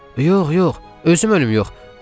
Yox, yox, özüm ölüm yox.